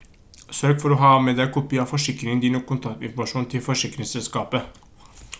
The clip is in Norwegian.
sørg for å ha med deg kopi av forsikringen din og kontaktinformasjon til forsikringsselskapet